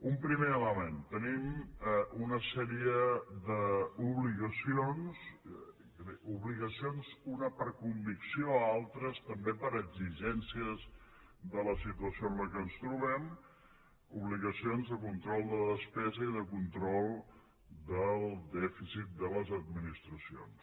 un primer element tenim una sèrie d’obligacions unes per convicció altres també per exigències de la situació en què ens trobem obligacions de control de la despesa i de control del dèficit de les administracions